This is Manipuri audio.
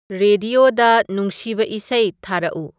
ꯔꯦꯗꯤꯌꯣꯗ ꯅꯨꯨꯡꯁꯤꯕ ꯏꯁꯩ ꯊꯥꯔꯛꯎ